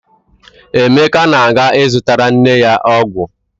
Emeka na-aga ịzụtara nne ya ọgwụ.